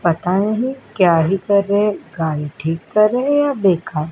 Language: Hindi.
पता नहीं क्या ही रहे हैं गाड़ी ठीक रहे हैं या देखा --